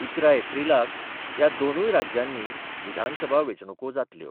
इकरा एप्रिलाक ह्या दोनुय राज्यांनी विधानसभा वेंचणुको जातल्यो.